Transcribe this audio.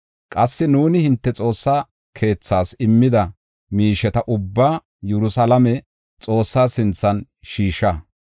Qassi nuuni hinte Xoossa keethaas, immida miisheta ubbaa Yerusalaame Xoossaa sinthan shiisha.